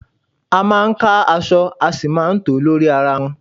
A máa ń ka aṣọ a sì máa tòó lórí ara wọn.